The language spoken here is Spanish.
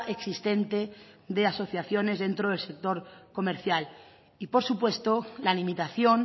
existente de asociaciones dentro del sector comercial y por supuesto la limitación